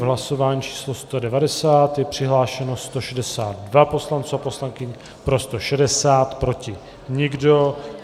V hlasování číslo 190 je přihlášeno 162 poslanců a poslankyň, pro 160, proti nikdo.